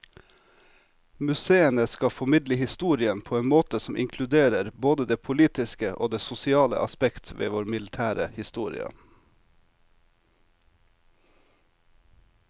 Museene skal formidle historien på en måte som inkluderer både det politiske og det sosiale aspekt ved vår militære historie.